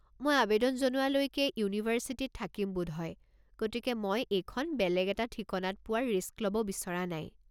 মই আৱেদন জনোৱালৈকে ইউনিভাৰ্চিটিত থাকিম বোধহয়, গতিকে মই এইখন বেলেগ এটা ঠিকনাত পোৱাৰ ৰিস্ক ল'ব বিচৰা নাই।